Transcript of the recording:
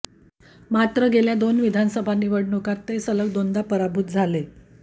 मात्र गेल्या दोन विधानसभा निवडणुकांत ते सलग दोनदा पराभूत झाले